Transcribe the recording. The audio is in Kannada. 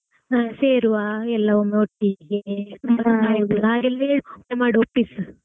ಹಾ ಸೇರುವ ಎಲ್ಲಾ ಒಮ್ಮೆ ಒಟ್ಟಿಗ್ಗೆ ತುಂಬಾ ದಿನ ಆಯ್ತು ಹಾಗೆಲ್ಲ ಹೇಳು ಬಾಯಲ್ಲೇ ಒಪ್ಪಿಸು.